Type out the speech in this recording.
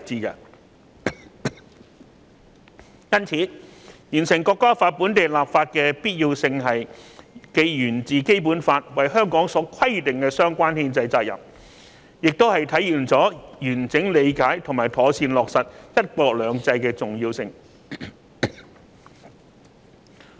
因此，完成《條例草案》本地立法的必要性既源自《基本法》為香港所規定的相關憲制責任，亦體現了完整理解和妥善落實"一國兩制"的重要性。